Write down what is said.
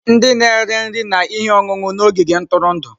Ndị na-ere nri na ihe ọṅụṅụ na ogige ntụrụndụ.